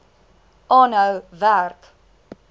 aanhou werk